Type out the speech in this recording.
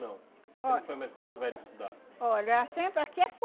não? Você não foi mais para Porto Velho estudar? Olha, ah sempre aqui é